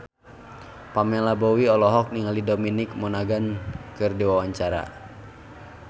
Pamela Bowie olohok ningali Dominic Monaghan keur diwawancara